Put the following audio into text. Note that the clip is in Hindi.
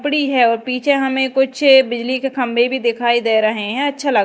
पड़ी है और पीछे हमें कुछ बिजली के खंबे भी दिखाई दे रहे हैं अच्छा लग--